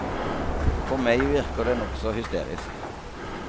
På meg virker det nokså hysterisk.